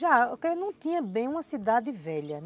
Já, porque não tinha bem uma cidade velha.